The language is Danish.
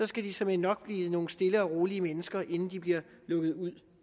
skal de såmænd nok blive nogle stille og rolige mennesker inden de bliver lukket ud